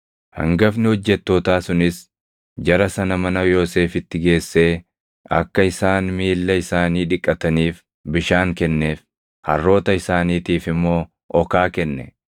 Hangafni hojjettootaa sunis jara sana mana Yoosefitti geessee akka isaan miilla isaanii dhiqataniif bishaan kenneef; harroota isaaniitiif immoo okaa kenne.